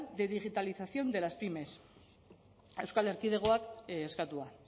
de digitalización de las pymes euskal erkidegoak eskatua